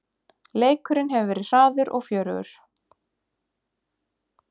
Leikurinn hefur verið hraður og fjörugur